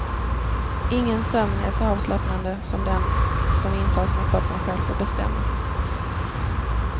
Ingen sömn är så avslappnande som den som intas när kroppen själv får bestämma.